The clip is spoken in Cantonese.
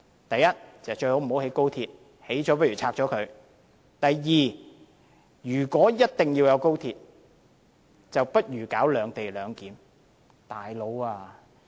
第一，最好不要興建高鐵，即使興建了，也要拆掉；第二，如果一定要有高鐵，則不如實施"兩地兩檢"。